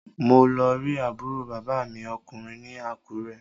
Mo lọ rí àbúrò bàbá mi ọkùnrin ní Àkúrẹ́